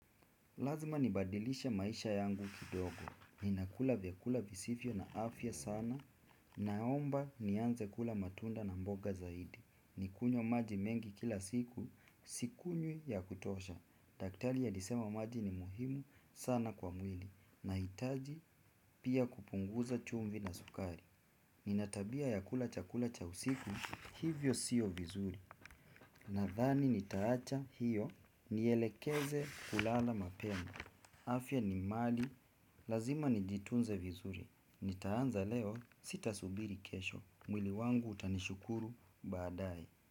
Lazima nibadilishe maisha yangu kidogo ninakula vyakula visivyo na afya sana naomba nianze kula matunda na mboga zaidi nikunywe maji mengi kila siku sikunywi ya kutosha daktari alisema maji ni muhimu sana kwa mwili nahitaji pia kupunguza chumvi na sukari. Nina tabia ya kula chakula cha usiku hivyo sio vizuri. Nadhani nitaacha iyo nielekeze kulala mapema. Afya ni mali, lazima nijitunze vizuri. Nitaanza leo sitasubiri kesho, mwili wangu utanishukuru baadaye.